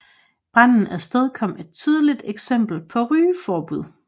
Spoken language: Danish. Branden afstedkom et tidligt eksempel på rygeforbud